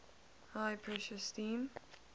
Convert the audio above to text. high pressure steam